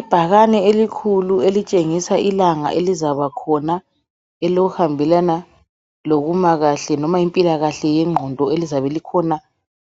Ibhakani elikhulu elitshengisa ilanga elizaba khona elihambelana lokuma kahle noma impilakahle yengqondo elizabe likhona